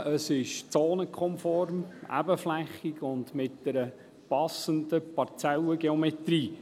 Es ist zonenkonform, ebenflächig und hat eine passende Parzellengeometrie.